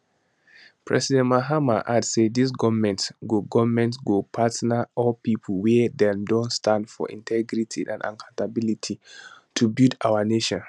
president mahama add say dis goment go goment go partner all pipo wia don dey stand for integrity and accountability to build our nation